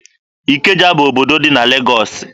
Ikeja bụ obodo dị na Legọọsị.